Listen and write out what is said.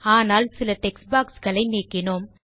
ஆனால் சில டெக்ஸ்ட் boxகளை நீக்கினோம்